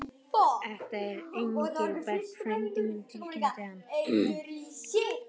Þetta er Engilbert frændi minn tilkynnti hann.